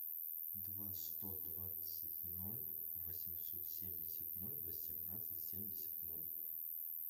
два сто двадцать ноль восемьсот семьдесят ноль восемнадцать семьдесят ноль